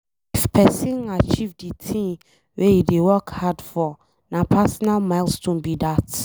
If pesin achieve de thing wey e dey work hard for na personal milestone be that.